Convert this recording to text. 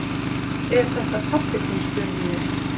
Er þetta pabbi þinn? spurði ég.